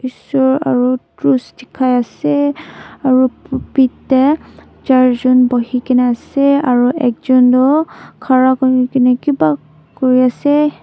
eshor aru cross dikhai ase aru propit teh char jon bohi ke na ase aro ekjon tu khara kuri ke na kiba kuri ase.